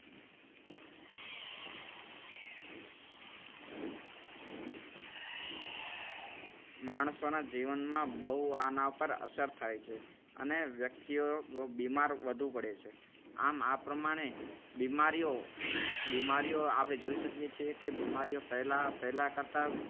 માણસોના જીવનમાં બહુ આના ઉપર અસર થાય છે અને વ્યક્તિઓ બીમાર વધુ પડે છે. આમ આ પ્રમાણે બીમારીઓ બીમારીઓ આપણે જોઈ શકીએ છીએ કે બીમારીઓ પહેલા પહેલા કરતા